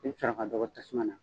I b'i sɔrɔ a ka dɔgɔ tasuma na.